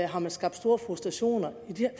har skabt store frustrationer